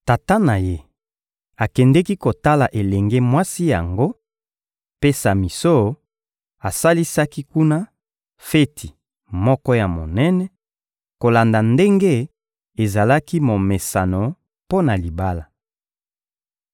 Tata na ye akendeki kotala elenge mwasi yango, mpe Samison asalisaki kuna feti moko ya monene, kolanda ndenge ezalaki momesano mpo na libala.